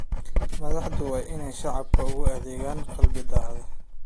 Madaxdu waa inay shacabka ugu adeegaan qalbi daacad ah.